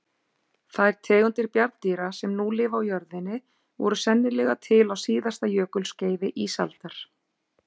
Þær tegundir bjarndýra sem nú lifa á jörðinni voru sennilega til á síðasta jökulskeiði ísaldar.